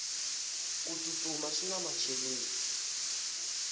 ku tsutsuma swina macheleni